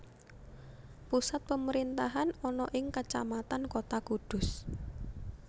Pusat pemerintahan ana ing Kacamatan Kota Kudus